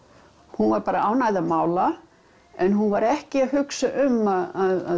hún var bara ánægð að mála en hún var ekki að hugsa um að